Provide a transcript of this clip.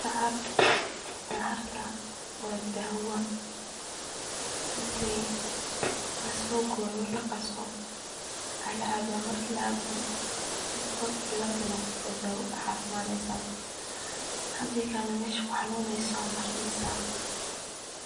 Dacar, dacarta waa daawa, inti lasoo gooyo laqaso aa lacabaa, marki lacabo inti hor iyo gadal noqoto ad caafimadesa, hadii kale meshu kuxanuneyso aa marineysa,